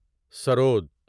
سرود